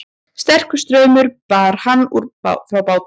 Sterkur straumur bar hann frá bátnum